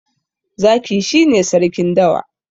Zaki shi ne Sarkin dawa.